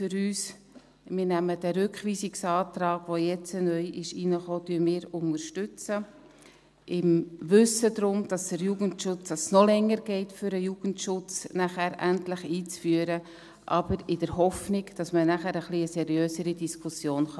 Wir unterstützen den Rückweisungsantrag, der jetzt neu hereingekommen ist – im Wissen darum, dass es noch länger geht, den Jugendschutz nachher endlich einzuführen, aber in der Hoffnung, dass man nachher eine etwas seriösere Diskussion führen kann.